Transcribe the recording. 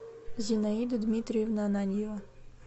зинаида дмитриевна ананьева